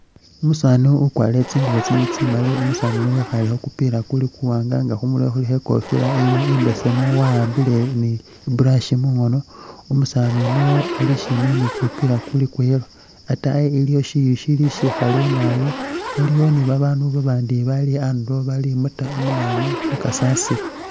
Umusaani wakwalire tsingubo tsili tsimali umusaani uyu wekhale khukupila kuli kuwaanga nga khumurwe khulikho ikofila imbesemu wawambile i'brush mungoono umusaani uno ali shimbi ni kupila kuli kwa yellow ataayi iliyo shiyu shili shikhale naabi waliwo babaandu babandi bali andulo bali muta munanu mukasasiro